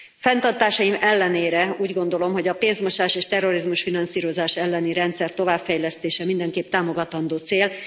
Fenntartásaim ellenére úgy gondolom, hogy a pénzmosás és terrorizmus finanszírozása elleni rendszer továbbfejlesztése mindenképp támogatandó cél.